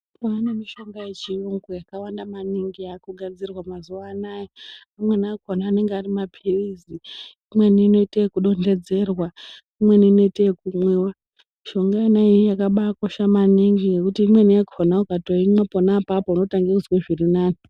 Kwaanemishonga yechiyungu yakawanda maningi yaakugadzirwa mazuwa anaya. Amweni akona anenge ari maphirizi, imweni inoite yekudonhedzerwa, imweni inoite yekumwiwa. Mishonga inoiyi yakabaakosha maningi ngekuti imweni yakona ukatoimwa pona apapo unototange kuzwe zvirinani.